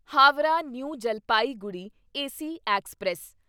Howrah New Jalpaiguri AC express